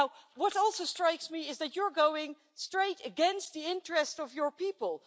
What also strikes me is that you're going straight against the interest of your people.